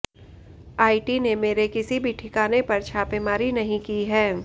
IT ने मेरे किसी भी ठिकाने पर छापेमारी नहीं की है